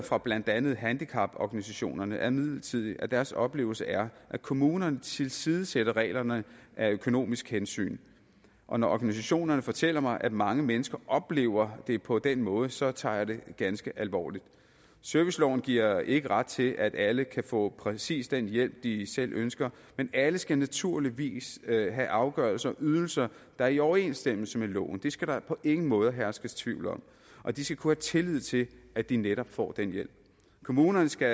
fra blandt andet handicaporganisationerne er imidlertid at deres oplevelse er at kommunerne tilsidesætter reglerne af økonomiske hensyn og når organisationerne fortæller mig at mange mennesker oplever det på den måde så tager jeg det ganske alvorligt serviceloven giver ikke ret til at alle kan få præcis den hjælp de selv ønsker men alle skal naturligvis have afgørelser og ydelser der er i overensstemmelse med loven det skal der på ingen måde herske tvivl om og de skal kunne have tillid til at de netop får den hjælp kommunerne skal